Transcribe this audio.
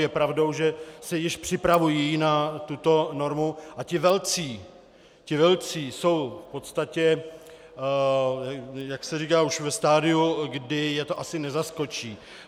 Je pravdou, že se již připravují na tuto normu a ti velcí jsou v podstatě, jak se říká, už ve stadiu, kdy je to asi nezaskočí.